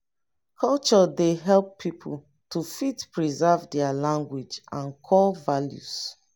culture dey help pipo to fit preserve their language and core values